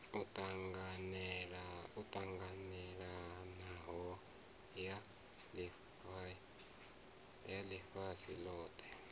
yo ṱanganelanaho ya ḽifhasi ḽothe